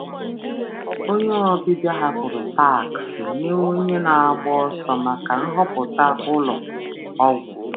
Onye ọbịbịa hapụrụ taksị ọbịbịa hapụrụ taksị nye onye na-agba ọsọ maka nhọpụta ụlọ ọgwụ.